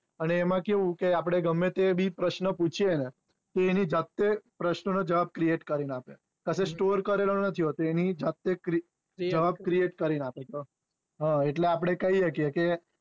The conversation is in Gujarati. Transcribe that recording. અને એમાં કેવું કે આપડે ગમે તેવું પ્રશ્ન પૂછયે ને તો એની જાતે પ્રાશ ના નું જવાબઃ create કરી ને આપે પછી store કરેલો નહિ હોતો એની જાતે જવાબ create કરીને આપે છે એટલે આપડે કહી શકીયે કે